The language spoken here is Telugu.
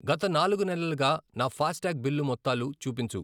గత నాలుగు నెలలుగా నా ఫాస్టాగ్ బిల్లు మొత్తాలు చూపించు.